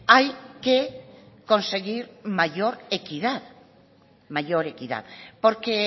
hay que conseguir mayor equidad mayor equidad porque